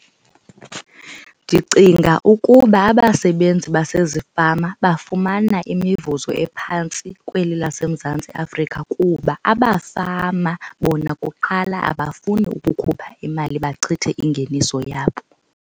Ndicinga ukuba abasebenzi basezifama bafumana imivuzo ephantsi kweli laseMzantsi Afrika kuba abafama bona kuqala abafuni ukukhupha imali bachithe ingeniso yabo.